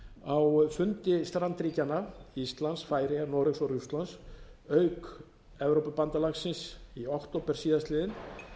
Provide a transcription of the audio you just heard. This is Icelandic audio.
ári á fundi strandríkjanna íslands færeyja noregs og rússlands auk evrópubandalagsins í október síðastliðinn